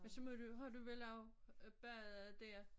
Men så må du jo har du vel også badet dér